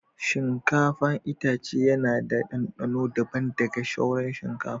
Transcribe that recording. Shinkafa itace yana da dandano daban da ga sauran shinkafa.